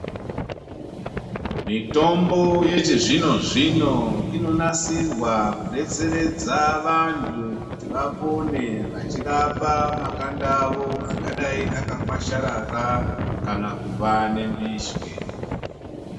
Mitombo yechizvino zvino inonasirwa kudetseredza vantu kuti vapone vachirapa makanda avo angadai akakwasharara kana kuva nembishwe.